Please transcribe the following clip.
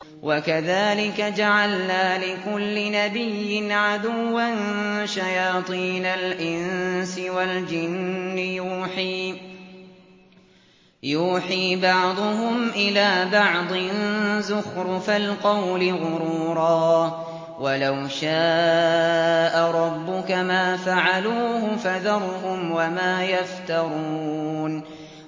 وَكَذَٰلِكَ جَعَلْنَا لِكُلِّ نَبِيٍّ عَدُوًّا شَيَاطِينَ الْإِنسِ وَالْجِنِّ يُوحِي بَعْضُهُمْ إِلَىٰ بَعْضٍ زُخْرُفَ الْقَوْلِ غُرُورًا ۚ وَلَوْ شَاءَ رَبُّكَ مَا فَعَلُوهُ ۖ فَذَرْهُمْ وَمَا يَفْتَرُونَ